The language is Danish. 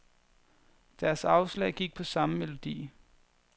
Deres afslag gik på samme melodi.